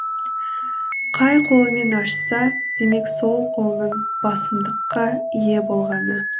қай қолымен ашса демек сол қолының басымдыққа ие болғаны